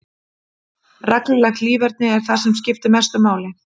Reglulegt líferni er það sem skiptir mestu máli.